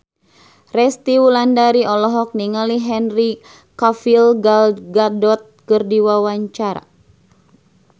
Resty Wulandari olohok ningali Henry Cavill Gal Gadot keur diwawancara